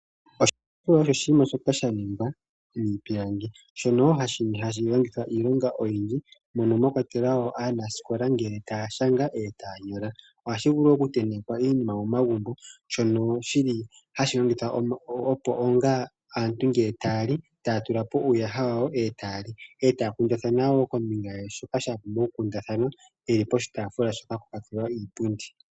Oshitaafula osho oshinima shoka shaningwa miipilangi shono hashi longithwa iilonga oyindji, mono mwakwatelwa wo aanasikola ngele tayashanga nenge tayanyola. Ohashi vulu okutentekwa iinima momagumbo shono shili hashi longithwa opo onga aantu ngele taya li taya tula po uuyaha wawo e taya li, e taya kundathana wo kombinga yaashoka shapumbwa okukundathanwa, poshitaafula shoka pwakwatelwa iipundi.